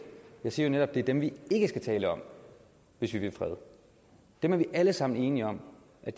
jeg siger jo netop at det er dem vi ikke skal tale om hvis vi vil fred dem er vi alle sammen enige om